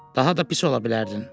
Daha da pis ola bilərdin.